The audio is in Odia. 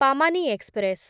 ପାମାନି ଏକ୍ସପ୍ରେସ୍